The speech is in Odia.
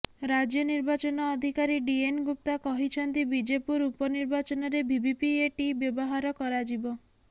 ରାଜ୍ୟ ନିର୍ବାଚନ ଅଧିକାରୀ ଡି ଏନ୍ ଗୁପ୍ତା କହିଛନ୍ତି ବିଜେପୁର ଉପନିର୍ବାଚନରେ ଭିଭିପିଏଟି ବ୍ୟବହାର କରାଯିବ